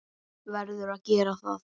Verður að gera það.